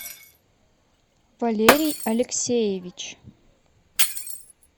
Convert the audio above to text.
валерий алексеевич